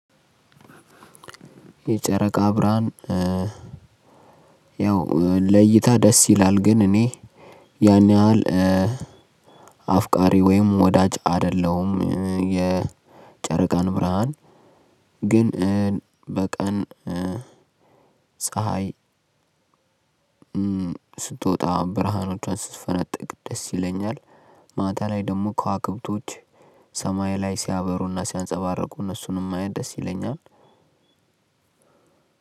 የጨረቃ ብርሐን ያው ለእይታ ደስ ይላል ግን እኔ ያን ያህል አፍቃሪ ወይም ወዳጅ አይደለሁም የጨረቃን ብርሐን። ግን በቀን ፀሀይ ስትወጣ ብርሃኖቿ ስትፈነጥቅ ደስ ይለኛል። ማታ ላይ ደግሞ ከዋክብቶች ሰማይ ላይ ሲያበሩና ሲያንፀባርቁ እነሱንም ማየት ደስ ይለኛል።